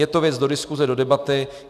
Je to věc do diskuse, do debaty.